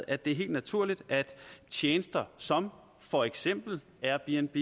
at det er helt naturligt at tjenester som for eksempel airbnb